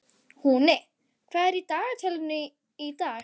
Húni, hvað er á dagatalinu í dag?